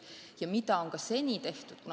Ja seda ongi tehtud.